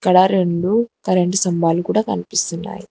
ఇక్కడ రెండు కరెంట్ స్తంభాలు కూడా కనిపిస్తున్నాయి.